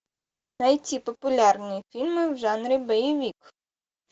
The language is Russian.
найти популярные фильмы в жанре боевик